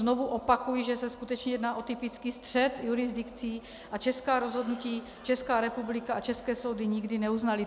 Znovu opakuji, že se skutečně jedná o typický střet jurisdikcí a česká rozhodnutí Česká republika a české soudy nikdy neuznaly.